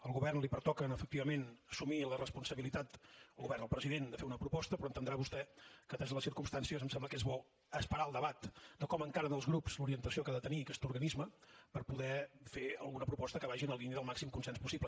al govern li pertoca efectivament assumir la responsabilitat al govern al president de fer una proposta però entendrà vostè que ateses les circumstàncies em sembla que és bo esperar el debat de com encaren els grups l’orientació que ha de tenir aquest organisme per poder fer alguna proposta que vagi en la línia del màxim consens possible